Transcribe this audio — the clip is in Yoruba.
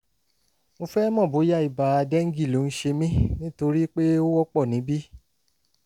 mo fẹ́ mọ̀ bóyá ibà dengue ló ń ṣe mí nítorí pé ó wọ́pọ̀ níbí